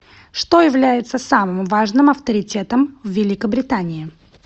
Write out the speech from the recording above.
что является самым важным авторитетом в великобритании